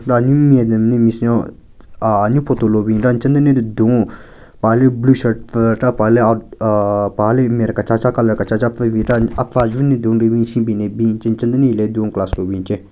Anyu madam le miss nyo ahh anyu photo lo bin ra nchenyu den le dun-o paha le blue shirt pvu chera paha le out aahhh paha le maren kechacha colour kechacha pvu bin chera apvu ajvun den le dun nri bin shunbin le bin che nchenyu den hile dun class lobin che.